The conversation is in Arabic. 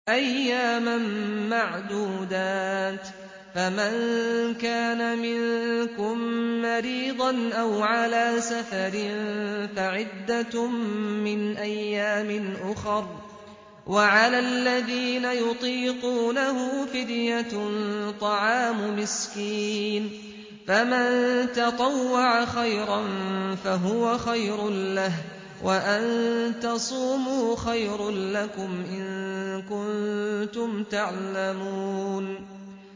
أَيَّامًا مَّعْدُودَاتٍ ۚ فَمَن كَانَ مِنكُم مَّرِيضًا أَوْ عَلَىٰ سَفَرٍ فَعِدَّةٌ مِّنْ أَيَّامٍ أُخَرَ ۚ وَعَلَى الَّذِينَ يُطِيقُونَهُ فِدْيَةٌ طَعَامُ مِسْكِينٍ ۖ فَمَن تَطَوَّعَ خَيْرًا فَهُوَ خَيْرٌ لَّهُ ۚ وَأَن تَصُومُوا خَيْرٌ لَّكُمْ ۖ إِن كُنتُمْ تَعْلَمُونَ